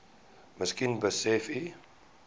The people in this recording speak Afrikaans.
miskien besef u